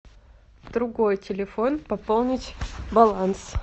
другой телефон пополнить баланс